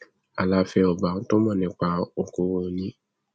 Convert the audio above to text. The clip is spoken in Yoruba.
aláfẹ ọba tó mọ nípa okòòwò ni